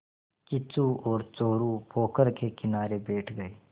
किच्चू और चोरु पोखर के किनारे बैठ गए